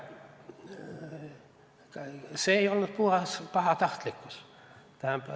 See ei olnud puhas pahatahtlikkus.